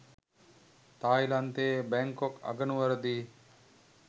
තායිලන්තයේ Bangkok අගනුවරදී